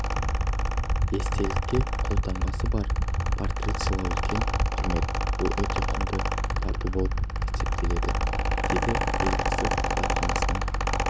естелікке қолтаңбасы бар портрет сыйлау үлкен құрмет бұл өте құнды тарту болып есептеледі дейді елбасы кітапханасының